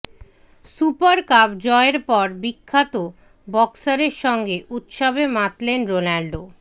super cup জয়ের পর বিখ্যাত বক্সারের সঙ্গে উৎসবে মাতলেন রোনাল্ডো